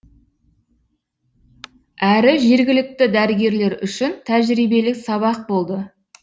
әрі жергілікті дәрігерлер үшін тәжірибелік сабақ болды